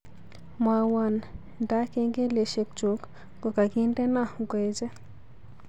Mwawon nda kengeleshekchuk kogagindeno ngoeche